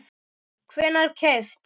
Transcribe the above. hvenær keypt?